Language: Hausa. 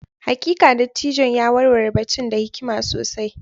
Hakika, dattijon ya warware batun da hikima sosai.